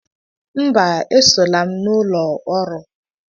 Mba, esola m n'ụlọ ọrụ